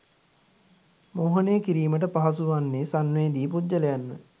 මෝහනය කිරීමට පහසු වන්නේ සංවේදී පුද්ගලයන්ව